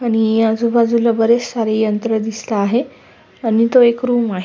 आणि आजूबाजूला बरेच सारे यंत्र दिसत आहे आणि इथ एक रूम आहे.